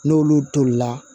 N'olu tolila